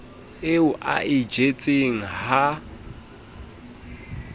eo a e jetseng ha